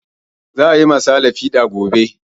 Za a yi ma sale fiɗa gobe